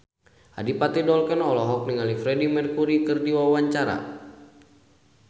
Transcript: Adipati Dolken olohok ningali Freedie Mercury keur diwawancara